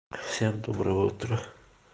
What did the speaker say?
всем доброе утро